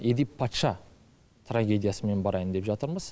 елиф патша трагедиясымен барайын деп жатырмыз